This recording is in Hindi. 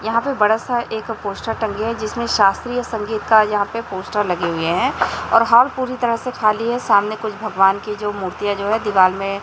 यहां पे बड़ा सा एक पोस्टर टंगी है जिसमें शास्त्रीय संगीत का यहां पे पोस्टर लगे हुए हैं और हाल पूरी तरह से खाली है सामने कुछ भगवान की जो मूर्तियां जो है दीवाल में--